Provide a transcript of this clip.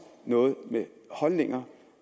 noget med holdninger